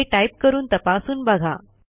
हे टाईप करून तपासून बघा